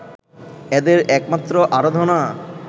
এদের একমাত্র আরাধনা